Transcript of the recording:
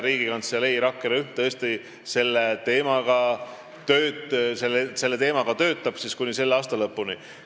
Riigikantselei rakkerühm tõesti selle teemaga tegeleb kuni selle aasta lõpuni.